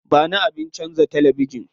Ba ni abin canza talabijin.